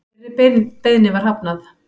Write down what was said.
Þeirri beiðni var hafnað